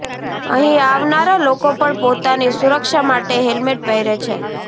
અહીં આવનારા લોકો પણ પોતાની સુરક્ષા માટે હેલમેટ પહેરે છે